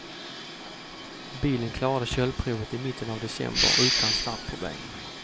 Bilen klarade köldprovet i mitten av december utan startproblem.